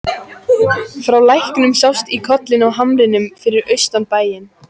Frá læknum sást í kollinn á hamrinum fyrir austan bæinn.